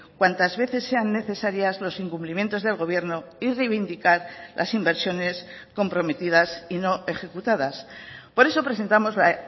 cuantas veces sean necesarias los incumplimientos del gobierno y reivindicar las inversiones comprometidas y no ejecutadas por eso presentamos la